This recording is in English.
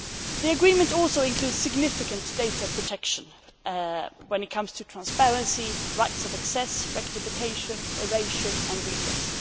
The agreement also includes significant data protection when it comes to transparency, rights of access, rectification, erasure and redress.